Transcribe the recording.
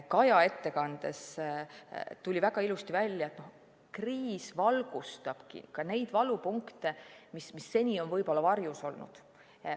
Kaja ettekandest tuli väga ilusti välja, et kriis valgustab ka neid valupunkte, mis seni on varjus olnud.